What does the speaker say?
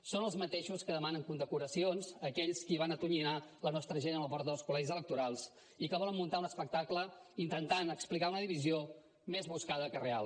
són els mateixos que demanen condecoracions a aquells qui van atonyinar la nostra gent a la porta dels col·legis electorals i que volen muntar un espectacle intentant explicar una divisió més buscada que real